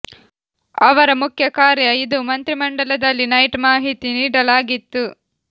ಅವರ ಮುಖ್ಯ ಕಾರ್ಯ ಇದು ಮಂತ್ರಿಮಂಡಲದಲ್ಲಿ ನೈಟ್ ಮಾಹಿತಿ ನೀಡಲು ಆಗಿತ್ತು